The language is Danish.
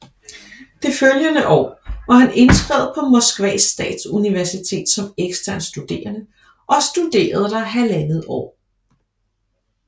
Det følgende år var han indskrevet på Moskvas statsuniversitet som ekstern studerende og studerede der halvandet år